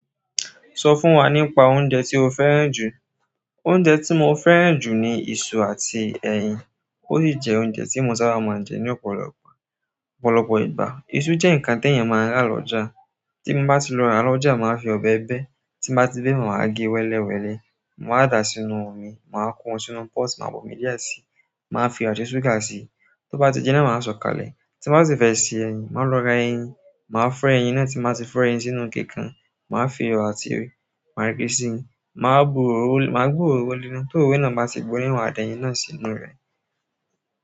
Sọ fún wa nípa oúnjẹ tí o fẹ́ràn jù. Oúnjẹ tí mo fẹ́ràn jù ni iṣu àti ẹyin. Ó sì jẹ́ oúnjẹ tí mo sábà máa ń jẹ ní ọ̀pọ̀lọpọ̀, ọ̀pọ̀lọpọ̀ ìgbà. Isu je nkan ti eeyan maa n ra loja. Tí mo bá ti lọ rà lọ́jà, màá fi ọbẹ̀ bẹ. Tí n bá ti bé maa wa gẹ wẹ́lẹ́wẹ́lẹ́. Màá dàá sínú omi, màá ko won sínú pọ́ọ̀tù, máa bomi díẹ̀ sí i, màá fiyo àti súgà sí i. Tó bá ti jinná, màá sọ̀kalẹ̀. Ti n ba si fe se eyin maa lo ra eyin. Màá fọ́ ẹyin náà tí n bá ti fọ́ ẹyin sínú ike kan. Màá fi iyo àti magí si, màá bu òróró léna. Tororo náà bá ti gbóná, màdẹ́yìn náà sí inú rẹ̀.